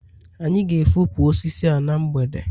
anyị ga-efopụ osisi a na mgbede